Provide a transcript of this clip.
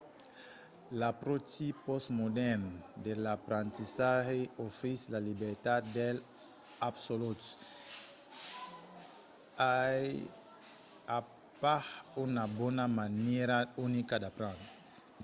l'apròchi pòstmodèrn de l'aprendissatge ofrís la libertat dels absoluts. i a pas una bona manièra unica d'aprendre